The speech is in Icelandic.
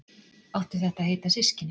Áttu þetta að heita systkini?